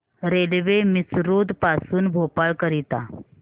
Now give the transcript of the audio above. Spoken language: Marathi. रेल्वे मिसरोद पासून भोपाळ करीता